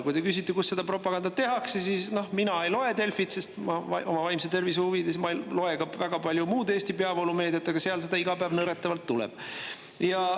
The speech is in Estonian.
Kui te küsite, kus seda propagandat tehakse, siis vastan, et mina ei loe Delfit, oma vaimse tervise huvides ma ei loe ka väga palju muud Eesti peavoolumeediat, aga sealt seda iga päev nõretavalt tuleb.